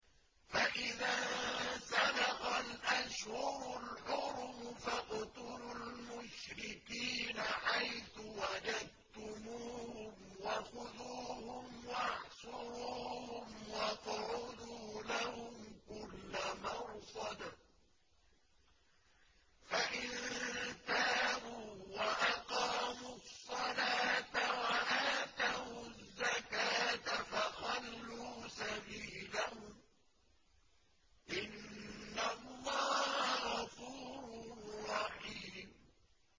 فَإِذَا انسَلَخَ الْأَشْهُرُ الْحُرُمُ فَاقْتُلُوا الْمُشْرِكِينَ حَيْثُ وَجَدتُّمُوهُمْ وَخُذُوهُمْ وَاحْصُرُوهُمْ وَاقْعُدُوا لَهُمْ كُلَّ مَرْصَدٍ ۚ فَإِن تَابُوا وَأَقَامُوا الصَّلَاةَ وَآتَوُا الزَّكَاةَ فَخَلُّوا سَبِيلَهُمْ ۚ إِنَّ اللَّهَ غَفُورٌ رَّحِيمٌ